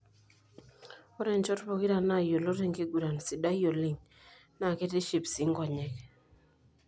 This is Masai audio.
Ore nchot pokira nayiolot tenkiguran sidai oleng na ketiship sii nkonyek.